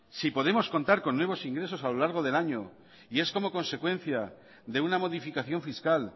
si podemos contar con nuevos ingresos a lo largo del año y es como consecuencia de una modificación fiscal